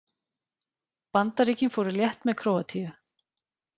Bandaríkin fóru létt með Króatíu